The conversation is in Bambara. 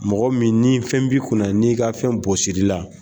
Mɔgɔ min ni fɛn b'i kunna n'i ka fɛn bɔsir'i la